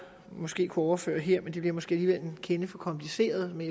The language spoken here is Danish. måske kunne overføre hertil men det bliver måske alligevel en kende for kompliceret men